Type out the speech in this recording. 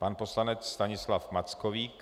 Pan poslanec Stanislav Mackovík.